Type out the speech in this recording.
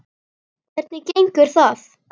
Hvernig gengur það?